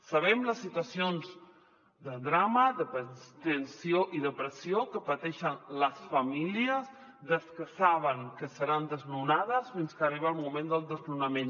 sabem les situacions de drama de tensió i de pressió que pateixen les famílies des que saben que seran desnonades fins que arriba el moment del desnonament